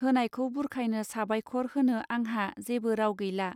होनायखौ बुरखायनो साबायखर होनो आंहा जेबो राव गैला.